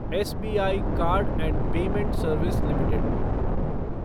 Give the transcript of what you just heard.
SBI card and payment service limited